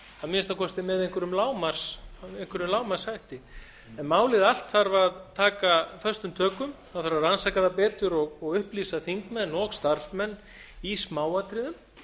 að minnsta kosti með einhverjum lágmarkshætti en málið allt þarf að taka föstum tökum það þarf að rannsaka það betur og upplýsa þingmenn og starfsmenn í smáatriðum